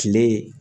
Kile